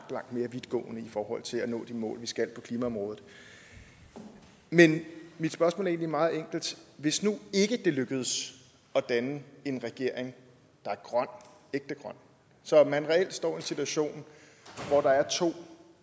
mere vidtgående i forhold til at nå de mål vi skal på klimaområdet men mit spørgsmål er egentlig meget enkelt hvis nu ikke det lykkes at danne en regering der er grøn ægte grøn så man reelt står i en situation hvor der er to